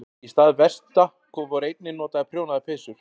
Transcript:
Í stað vesta voru einnig notaðar prjónaðar peysur.